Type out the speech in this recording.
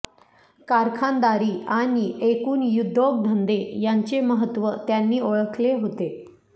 कारखानदारी आणि एकूण उद्योगधंदे यांचे महत्त्व त्यांनी ओळखले होते